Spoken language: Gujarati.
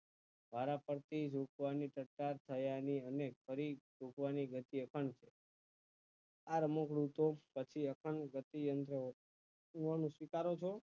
વારા ફરતી વેચવાની સતા છે અહી અને ફરી તૂટવાની પ્રત્યે પણ આ રમકડું તો પછી અખંડ ગતિ એ મળે તે અહી સ્વીકાર્યું છે